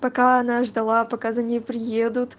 пока она ждала пока за ней приедут